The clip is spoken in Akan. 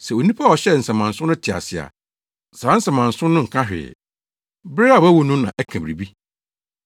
Sɛ onipa a ɔhyɛɛ nsamansew no te ase a, saa nsamansew no nka hwee. Bere a wawu no na ɛka biribi.